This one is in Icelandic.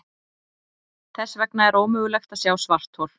Þess vegna er ómögulegt að sjá svarthol.